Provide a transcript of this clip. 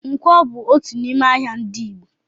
Ǹkwọ bú otu n'ime ahịa ndị Igbo